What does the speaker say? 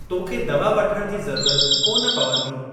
तोखे दवा वठण जी ज़रूरत कोन पवंदी।